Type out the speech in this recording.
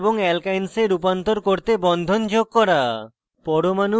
alkanes কে alkenes এবং alkynes এ রূপান্তর করতে বন্ধন যোগ করা